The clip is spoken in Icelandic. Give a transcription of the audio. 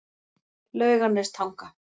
Laugarnestanga